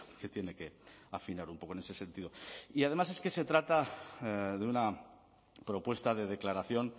que tiene que afinar un poco en ese sentido y además es que se trata de una propuesta de declaración